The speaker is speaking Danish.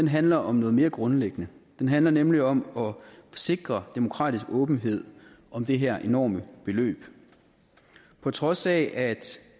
handler om noget mere grundlæggende den handler nemlig om at sikre demokratisk åbenhed om det her enorme beløb på trods af